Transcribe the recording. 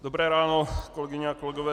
Dobré ráno, kolegyně a kolegové.